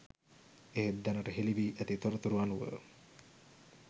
එහෙත් දැනට හෙළි වී ඇති තොරතුරු අනුව